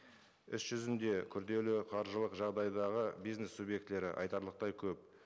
іс жүзінде күрделі қаржылық жағдайдағы бизнес субъектілері айтарлықтай көп